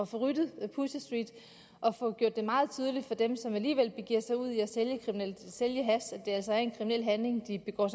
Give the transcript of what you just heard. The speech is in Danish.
få ryddet pusher street og få gjort det meget tydeligt for dem som alligevel begiver sig ud i at sælge hash at det altså er en kriminel handling de begår